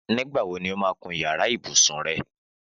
Nígbà wo ni ó máa kun yàrá ibùsùn rẹ?